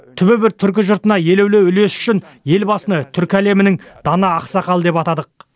түбі бір түркі жұртына елеулі үлесі үшін елбасыны түркі әлемінің дана ақсақалы деп атадық